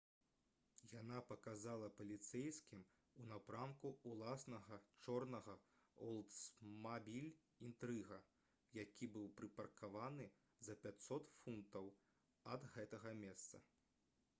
яна паказала паліцэйскім у напрамку ўласнага чорнага «олдсмабіль інтрыга» які быў прыпаркаваны за 500 футаў ад гэтага месца